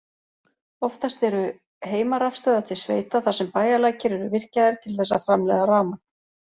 Oftast eru heimarafstöðvar til sveita þar sem bæjarlækir eru virkjaðir til þess að framleiða rafmagn.